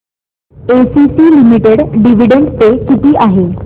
ACC limited dividend pay किती आहे